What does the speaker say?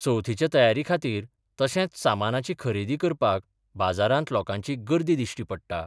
चवथीच्या तयारी खातीर तशेंच सामानाची खरेदी करपाक बाजारांत लोकांची गर्दी दिश्टी पडटा.